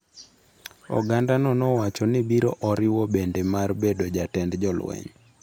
Ogandano nowacho ni biro oriwo bende mar bedo jatend jolweny.